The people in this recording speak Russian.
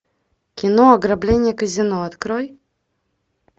кино ограбление казино открой